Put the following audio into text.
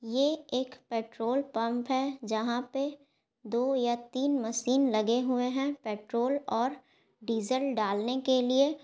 ये एक petrol pump है। जहाँ पे दो या तीन मशीन लगे हुए है पेट्रोल और डीजल डालने के लिए।